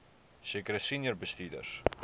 sekere senior bestuurders